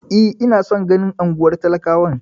E, ina son ganin unguwar talakawan.